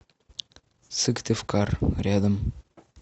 сыктывкар рядом